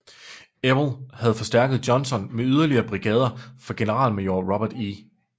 Ewell havde forstærket Johnson med yderligere brigader fra generalmajor Robert E